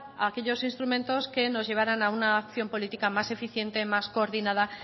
aquellos instrumentos que nos llevaran a una acción política más eficiente más coordinada